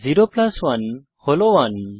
0 plus 1 হল 1